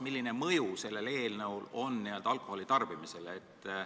Milline mõju sellel eelnõul on alkoholi tarbimisele?